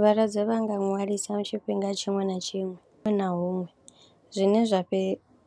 Vhalwadze vha nga ṅwalisa tshifhinga tshiṅwe na tshiṅwe huṅwe na huṅwe zwine zwa fhe,